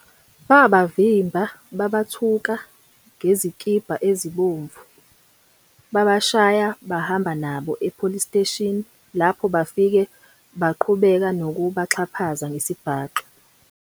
Babavimba babathuka ngezikibha ezibomvu babashaya, bahamba nabo e police station lapho bafike baqhubeka nokuba xhaphaza ngesibhaxu.